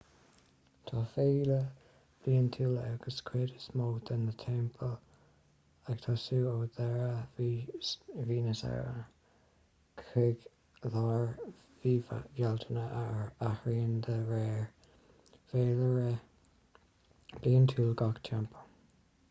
tá féile bhliantúil ag cuid is mó de na teampaill ag tosú ó dheireadh mhí na samhna chuig lár mhí bhealtaine a athraíonn de réir féilire bliantúil gach teampall